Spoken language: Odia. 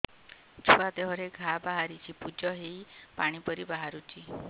ଛୁଆ ଦେହରେ ଘା ବାହାରିଛି ପୁଜ ହେଇ ପାଣି ପରି ବାହାରୁଚି